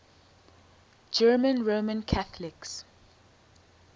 german roman catholics